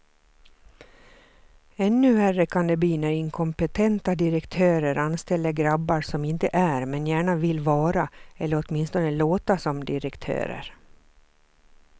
Ännu värre kan det bli när inkompetenta direktörer anställer grabbar som inte är, men gärna vill vara eller åtminstone låta som direktörer.